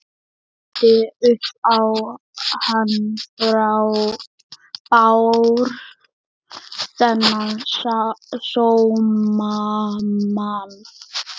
Ljúgandi upp á hann Bárð, þennan sómamann.